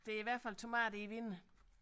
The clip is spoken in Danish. Der er i hvert fald tomater i vinduet